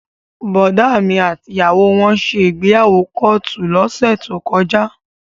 Bọ̀dá mi àti ìyàwó wọn ṣe ìgbéyàwó kóòtù lọ́sẹ̀ tó kọjá